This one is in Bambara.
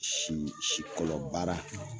Si sikɔlɔ baara